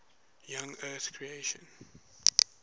young earth creationism